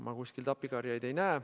Ma kuskilt appikarjeid ei näe.